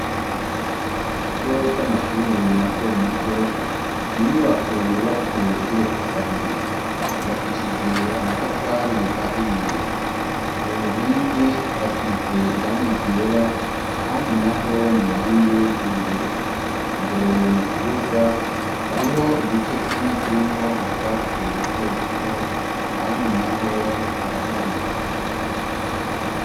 Mu kigo c'amashure mato mato ni inyubako yubatse igeretse kabiri. Yubakishije amatafari ahiye. Ku nkingi harasize irangi ryera, ahandi naho ni irangi ry'ubururu. Imbere mu kibuga hariho igice kimwe kirimwo utwatsi duto duto, ahandi naho haraharuye.